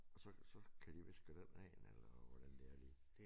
Og så så kan de vist køre den af eller hvordan det er lige